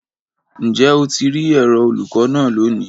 Njẹ o ti ri ẹrọ olukọ naa loni?